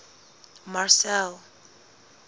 marcel